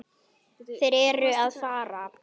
Þeir eru að fara.